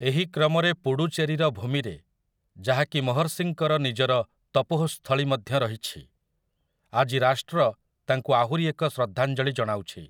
ଏହି କ୍ରମରେ ପୁଡ଼ୁଚେରୀର ଭୂମିରେ, ଯାହାକି ମହର୍ଷିଙ୍କର ନିଜର ତପୋଃସ୍ଥଳୀ ମଧ୍ୟ ରହିଛି, ଆଜି ରାଷ୍ଟ୍ର ତାଙ୍କୁ ଆହୁରି ଏକ ଶ୍ରଦ୍ଧାଞ୍ଜଳୀ ଜଣାଉଛି ।